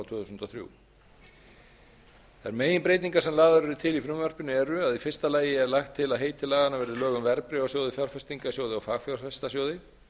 tvö þúsund og þrjár þær meginbreytingar sem lagðar eru til í frumvarpinu eru að fyrsta lagi er lagt til að heiti laganna verði lög um verðbréfasjóði fjárfestingarsjóði og fagfjárfestasjóði